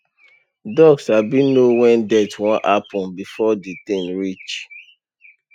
dog sabi know when death wan happen before the thing reach